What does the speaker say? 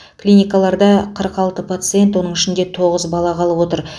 клиникаларда қырық алты пациент оның ішінде тоғыз бала қалып отыр